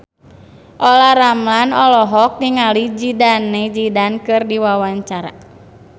Olla Ramlan olohok ningali Zidane Zidane keur diwawancara